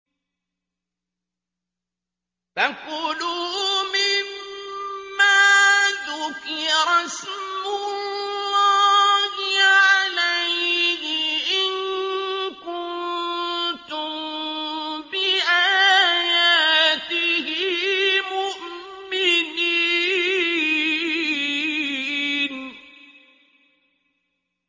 فَكُلُوا مِمَّا ذُكِرَ اسْمُ اللَّهِ عَلَيْهِ إِن كُنتُم بِآيَاتِهِ مُؤْمِنِينَ